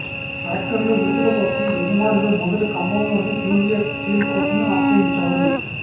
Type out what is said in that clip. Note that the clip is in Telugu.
ట్రాక్టర్ల విడుదల కోసం యజమానులు మొదట ఖమ్మంలోని జూనియర్ సివిల్ కోర్టును ఆశ్రయించారు